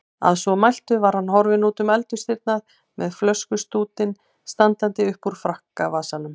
Að svo mæltu var hann horfinn útum eldhúsdyrnar með flöskustútinn standandi uppúr frakkavasanum.